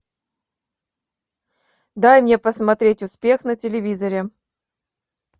дай мне посмотреть успех на телевизоре